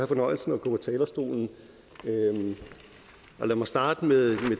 fornøjelsen af at gå på talerstolen lad mig starte med